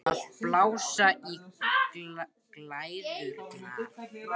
Að blása í glæðurnar